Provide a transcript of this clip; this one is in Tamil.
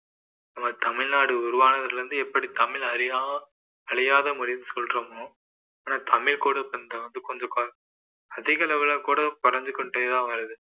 நம்ம தமிழ்நாடு உருவானதிலிருந்து எப்படி தமிழ்ல அழியா~ அழியாத மொழின்னு சொல்றோமோ ஆனால் தமிழ் கூட கொஞ்சம் வந்து கொஞ்ச~ அதிக அளவுல கூட குறைந்து கொண்டே தான் வருது